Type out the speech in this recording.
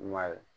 I ma ye